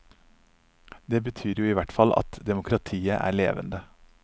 Det betyr jo i hvert fall at demokratiet er levende.